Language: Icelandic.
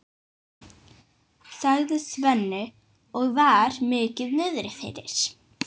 sagði Svenni og var mikið niðri fyrir.